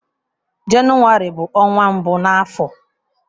Jenụwarị bụ ọnwa mbụ na afọ.